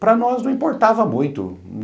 Para nós não importava muito.